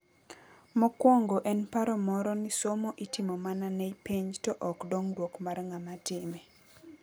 Mokwongo en paro moro ni somo itimo mana ne penj to ok dongruok mar ng'ama time.